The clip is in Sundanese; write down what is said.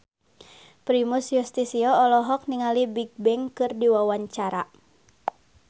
Primus Yustisio olohok ningali Bigbang keur diwawancara